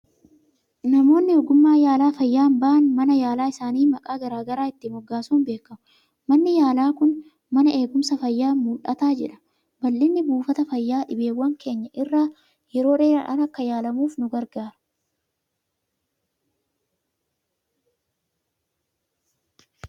Namoonni ogummaa yaala fayyaan ba'an, mana yaalaa isaanii maqaa garaa garaa itti moggaasuun beekamu. Manni yaalaa kun mana Eegumsa fayyaa mul'ataa jedhama. Babal'inni buufata fayyaa, dhibeewwan keenya irraa yeroodhaan akka yaalamnuuf nu gargaara.